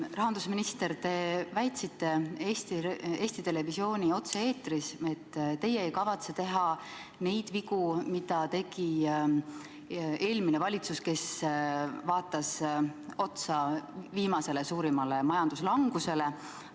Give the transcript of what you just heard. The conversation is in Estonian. Rahandusminister, te väitsite Eesti Televisiooni otse-eetris, et teie ei kavatse teha neid vigu, mida tegi eelmine valitsus, kes vaatas otsa viimasele suurimale majanduslangusele.